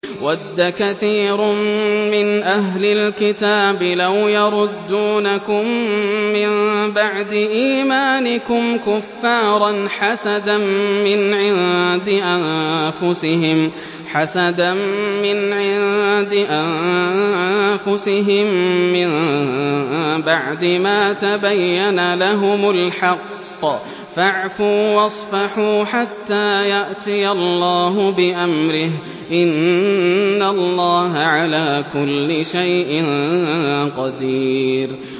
وَدَّ كَثِيرٌ مِّنْ أَهْلِ الْكِتَابِ لَوْ يَرُدُّونَكُم مِّن بَعْدِ إِيمَانِكُمْ كُفَّارًا حَسَدًا مِّنْ عِندِ أَنفُسِهِم مِّن بَعْدِ مَا تَبَيَّنَ لَهُمُ الْحَقُّ ۖ فَاعْفُوا وَاصْفَحُوا حَتَّىٰ يَأْتِيَ اللَّهُ بِأَمْرِهِ ۗ إِنَّ اللَّهَ عَلَىٰ كُلِّ شَيْءٍ قَدِيرٌ